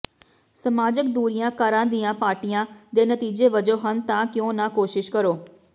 ਸਮਾਜਕ ਦੂਰੀਆਂ ਘਰਾਂ ਦੀਆਂ ਪਾਰਟੀਆਂ ਦੇ ਨਤੀਜੇ ਵਜੋਂ ਹਨ ਤਾਂ ਕਿਉਂ ਨਾ ਕੋਸ਼ਿਸ਼ ਕਰੋ